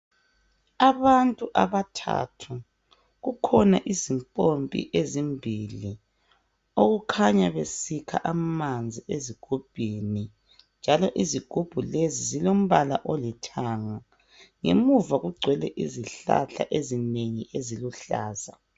Abantu abathathu, kukhona izimpompi ezimbili okukhanya besikha amanzi ezigubhini njalo izigubhu lezi zilombala olithanga. Ngemuva kugcwele izihlahla ezinengi eziluhlaza.